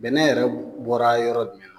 Bɛnɛ yɛrɛ bɔra yɔrɔ jumɛn na ?